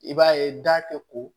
I b'a ye da ko